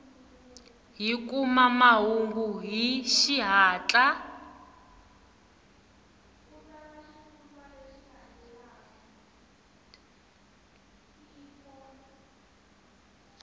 hi kuma mahungu hi xihatla